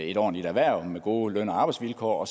et ordentligt erhverv med gode løn og arbejdsvilkår